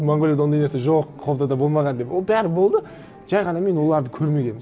монғолияда ондай нәрсе жоқ қобдада болмаған деп ол бәрі болды жай ғана мен оларды көрмегенмін